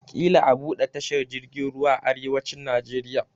Ƙila a buɗe tashar jirgin ruwa a arewacin Najeriya.